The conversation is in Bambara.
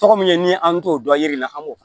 Tɔgɔ min ye ni an t'o dɔn yiri la an b'o fɔ